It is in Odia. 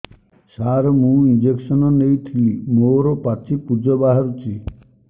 ସାର ମୁଁ ଇଂଜେକସନ ନେଇଥିଲି ମୋରୋ ପାଚି ପୂଜ ବାହାରୁଚି